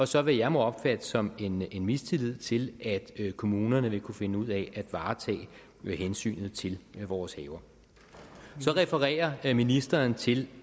som jeg må opfatte som en mistillid til at kommunerne vil kunne finde ud af at varetage hensynet til vores haver så refererer ministeren til